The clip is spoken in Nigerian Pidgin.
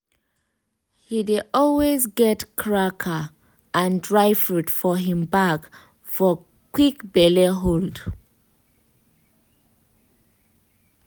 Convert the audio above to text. he dey always get cracker and dry fruit for him bag for quick belle hold.